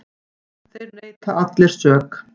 Þeir neita allir sök.